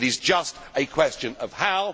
it is just a question of how.